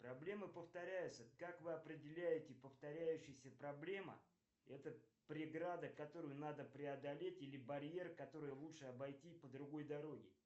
проблемы повторяются как вы определяете повторяющиеся проблема это преграда которую надо преодолеть или барьер который лучше обойти по другой дороге